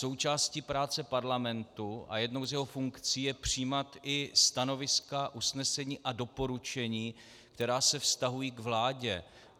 Součástí práce parlamentu a jednou z jeho funkcí je přijímat i stanoviska, usnesení a doporučení, která se vztahují k vládě.